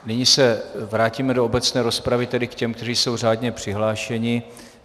Nyní se vrátíme do obecné rozpravy, tedy k těm, kteří jsou řádně přihlášeni.